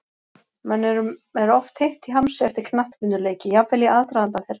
Mönnum er oft heitt í hamsi eftir knattspyrnuleiki, jafnvel í aðdraganda þeirra.